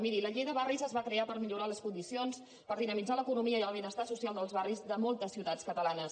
miri la llei de barris es va crear per millorar les condicions per dinamitzar l’economia i el benestar so cial dels barris de moltes ciutats catalanes